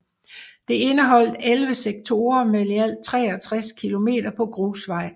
Det indeholdt 11 sektorer med i alt 63 km på grusvej